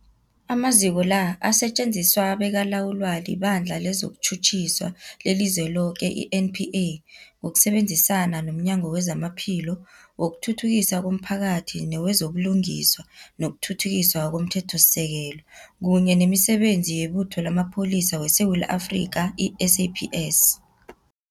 Amaziko la asetjenziswa bekalawulwa liBandla lezokuTjhutjhisa leliZweloke, i-NPA, ngokusebenzisana nomnyango wezamaPhilo, wokuthuthukiswa komphakathi newezo buLungiswa nokuThuthukiswa komThethosisekelo, kunye nemiSebenzi yeButho lamaPholisa weSewula Afrika, i-SAPS.